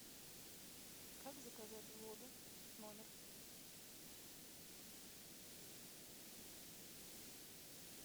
как заказать воду в номер